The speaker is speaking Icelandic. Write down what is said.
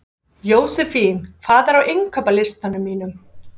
Jósefín, hvað er á innkaupalistanum mínum?